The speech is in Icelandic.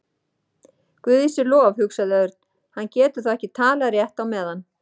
Guði sé lof, hugsaði Örn, hann getur þá ekki talað rétt á meðan.